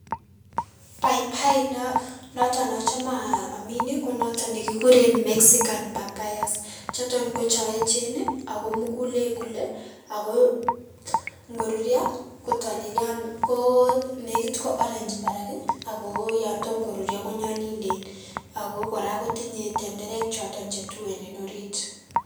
Paipai no noton nochome aamin konoton nekikuren Mexican Papayas, chuton ko chon echen ago mugulen kole ago ngorurio kotolelion ko konegit ko orange barak ii ago yon tom korurio konyolilen ago kora kotinye tenderek choton chetuen en orit.